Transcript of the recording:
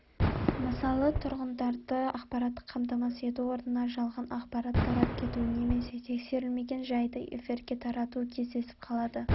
мысалы тұрғындарды ақпараттық қамтамасыз ету орнына жалған ақпарат тарап кетуі немесе тексерілмеген жайды эфирге таратуы кездесіп қалады